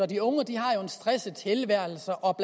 de unge har jo en stresset tilværelse og